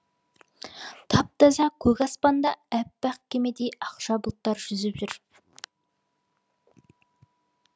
тап таза көк аспанда аппақ кемедей ақша бұлттар жүзіп жүр